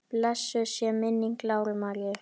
Blessuð sé minning Láru Maríu.